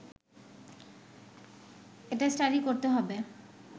এটা স্টাডি করতে হবে